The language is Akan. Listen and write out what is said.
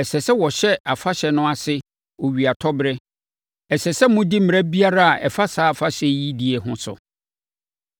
Ɛsɛ sɛ wɔhyɛ afahyɛ no ase owiatɔberɛ. Ɛsɛ sɛ modi mmara biara a ɛfa saa afahyɛ yi die ho so.”